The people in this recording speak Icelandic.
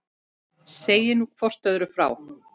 Segið nú hvort öðru frá.